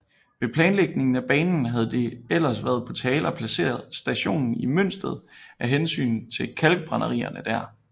Ved planlægningen af banen havde det ellers været på tale at placere stationen i Mønsted af hensyn til kalkbrænderierne der